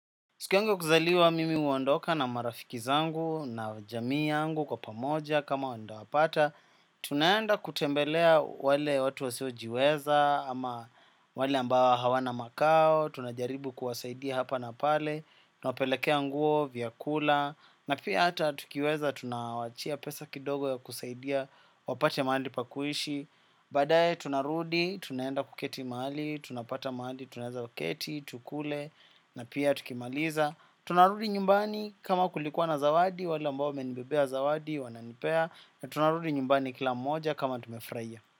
Siku yangu ya kuzaliwa mimi huondoka na marafiki zangu na jamii yangu kwa pamoja kama nitawapata. Tunaenda kutembelea wale watu wasiojiweza ama wale ambao hawana makao. Tunajaribu kuwasaidia hapa na pale, tunawapelekea nguo vyakula. Na pia hata tukiweza tunawachia pesa kidogo ya kusaidia wapate mahali pakuishi. Baadaye tunarudi, tunaenda kuketi mahali, tunapata mahali, tunaweza keti, tukule na pia tukimaliza, tunarudi nyumbani kama kulikuwa na zawadi wala ambao wamenibebea zawadi, wananipea na tunarudi nyumbani kila mmoja kama tumefurahia.